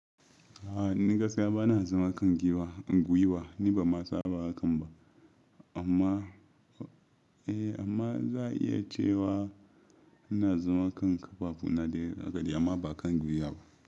A'a ni gaskiya ba na zama kan guiwa, guiwa ni banma san ana hakan ba amma, eh amma in za'a iya cewa ina zama kan ƙafafu na dai hakadai amma ba kan guiwa ba.